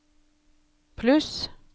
pluss